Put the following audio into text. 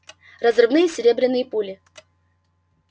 разрывные серебряные пули